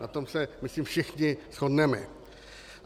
Na tom se myslím všichni shodneme.